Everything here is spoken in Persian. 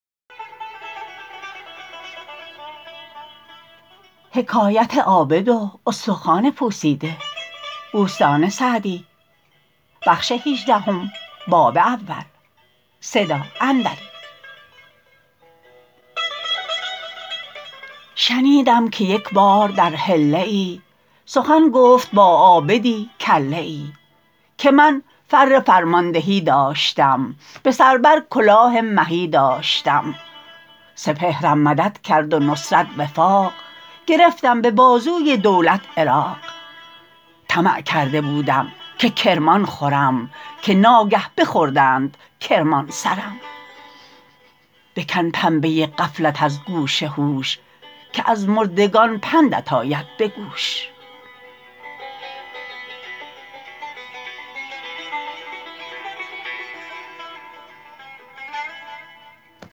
شنیدم که یک بار در حله ای سخن گفت با عابدی کله ای که من فر فرماندهی داشتم به سر بر کلاه مهی داشتم سپهرم مدد کرد و نصرت وفاق گرفتم به بازوی دولت عراق طمع کرده بودم که کرمان خورم که ناگه بخوردند کرمان سرم بکن پنبه غفلت از گوش هوش که از مردگان پندت آید به گوش